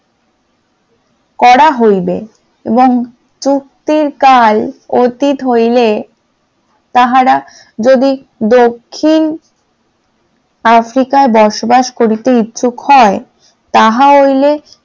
করা হইবে এবং চুক্তির কাল অতীত হইলে, তাহারা যদি দক্ষিণ আফ্রিকা বসবাস করিতে ইচ্ছুক হয়, তাহা হইলে